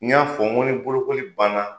N y'a fɔ n ko ni bolokoli banna,